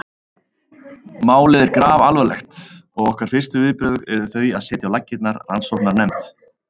Málið er grafalvarlegt og okkar fyrstu viðbrögð eru þau að setja á laggirnar rannsóknarnefnd.